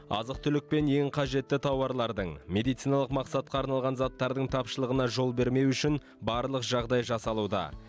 азық түлік пен ең қажетті тауарлардың медициналық мақсатқа арналған заттардың тапшылығына жол бермеу үшін барлық жағдай жасалуда